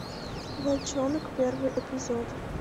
волчонок первый эпизод